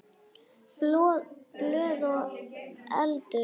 Blöð og eldur.